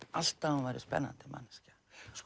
alltaf að hún væri spennandi manneskja